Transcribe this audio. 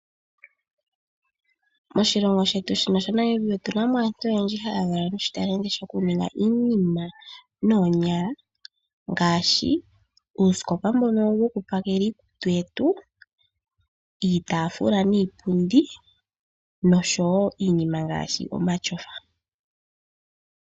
Moshilongo shetu shino sha Namibia otuna mo aantu oyendji haya valwa noshitalenti shika shokuninga iinima noonyala ngaashi uusikopa mbono wokupakela iikutu yetu, iitaafula niipundi nosho wo iinima ngaashi omatyofa.